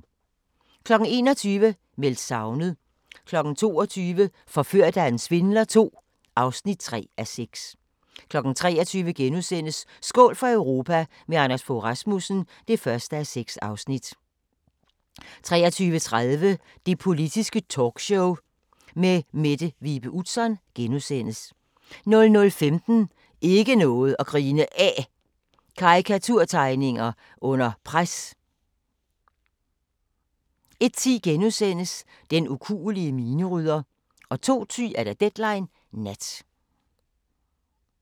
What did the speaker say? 21:00: Meldt savnet 22:00: Forført af en svindler II (3:6) 23:00: Skål for Europa – med Anders Fogh Rasmussen (1:6)* 23:30: Det Politiske Talkshow med Mette Vibe Utzon * 00:15: Ikke noget at grine af – karikaturtegninger under pres 01:10: Den ukuelige minerydder * 02:10: Deadline Nat